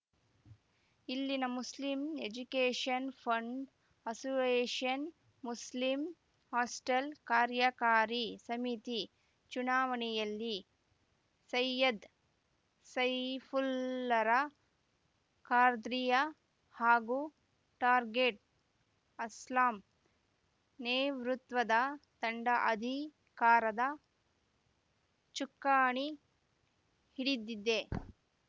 ಇಲ್ಲಿನ Muslim education fund association Muslim hostel ಕಾರ್ಯಕಾರಿ ಸಮಿತಿ ಚುನಾವಣೆಯಲ್ಲಿ ಸೈಯದ್‌ ಸೈಫುಲ್ಲಾರ ಖಾರ್ದ್ರಿಯಾ ಹಾಗೂ ಟಾರ್ಗೆಟ್‌ ಅಸ್ಲಂ ನೇವೃತ್ವದ ತಂಡ ಅಧಿಕಾರದ ಚುಕ್ಕಾಣಿ ಹಿಡಿದಿದೆ